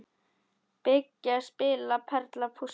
Byggja- spila- perla- púsla